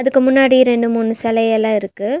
இதுக்கு முன்னாடி ரெண்டு மூணு செலையெல்லா இருக்கு.